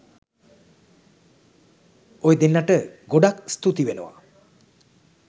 ඔය දෙන්නට ගොඩක් ස්තුති වෙනවා